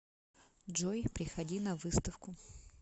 джой приходи на выставку